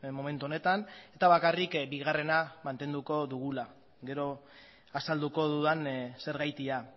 momentu honetan eta bakarrik bigarrena mantenduko dugula gero azalduko dudan zergatia